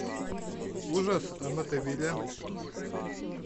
ужас амитивилля